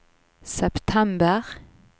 september